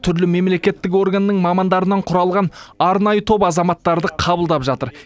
түрлі мемлекеттік органның мамандарынан құралған арнайы топ азаматтарды қабылдап жатыр